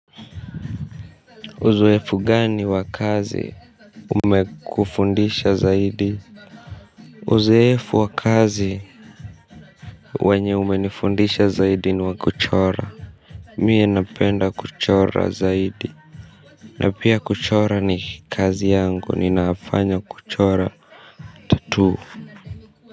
Uzoefu gani wakazi umekufundisha zaidi uzoefu wakazi wenye umenifundisha zaidi ni wakuchora mimi napenda kuchora zaidi na pia kuchora ni kazi yangu ninafanya kuchora tattoo.